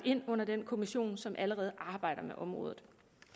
ind under den kommission som allerede arbejder med området